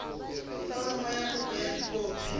foromo ya kopo ka dikopi